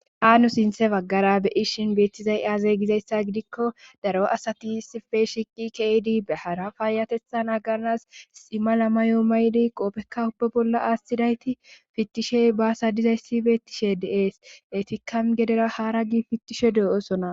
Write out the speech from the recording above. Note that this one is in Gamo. Xaano sinthe baggara beyishin beettizay aazay gizayssa gidikko daro asati sife shiqi keydi behara faayatethan agarnas ximma lamma yoo maydi qoopekka ubba bolla aastidayti fittishey baasa dizayssi beettishe deees eti kam gedera haara gi fittishe deo7osona